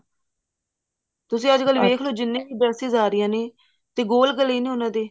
ਤੁਸੀਂ ਅੱਜਕਲ ਦੇਖਲੋ ਜਿੰਨੀਆਂ ਵੀ dresses ਆ ਰਹੀਆਂ ਨੇ ਤੇ ਗੋਲ ਗਲੇ ਨੇ ਉਹਨਾ ਦੇ